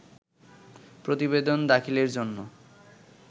প্রতিবেদন দাখিলের জন্য